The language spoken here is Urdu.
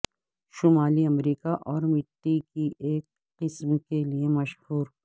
شمالی امریکہ اور مٹی کی ایک قسم کے لئے مشہور